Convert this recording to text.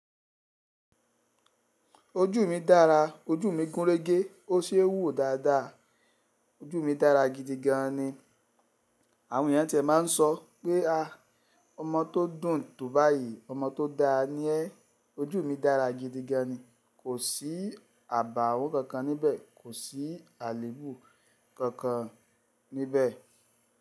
Ojú mi dára, ojú mi gúnrégé, ó se wúwo dáadáa. Ojú mi dára gidigan ni. Àwọn ènìyàn ti máa ń sọ pé a, ọmọ tó dùn tò báyìí, ọmọ tó da ni ẹ́. Ojú mi dára gidigan ni. Kò sí àbàwó kankan níbẹ̀, kò sí àlebù kankan níbẹ̀.